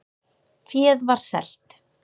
Féð var selt